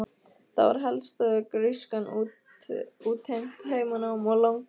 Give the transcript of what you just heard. Það var helst að grískan útheimti heimanám og langar yfirsetur.